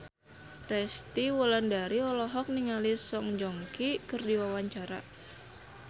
Resty Wulandari olohok ningali Song Joong Ki keur diwawancara